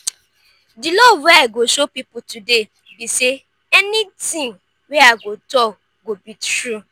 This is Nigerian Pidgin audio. di love wey i go show people today be say anything wey i go talk go be true.